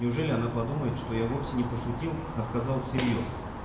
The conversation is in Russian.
неужели она подумает что я вовсе не пошутил а сказал всерьёз